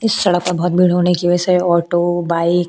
इस सड़क में बहुत भीड़ होने की वजह से ऑटो बाइक --